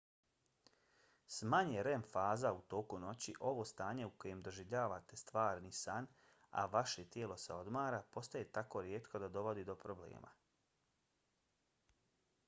s manje rem faza u toku noći ovo stanje u kojem doživljavate stvarni san a vaše tijelo se odmara postaje tako rijetko da dovodi do problema